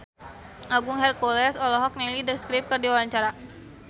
Agung Hercules olohok ningali The Script keur diwawancara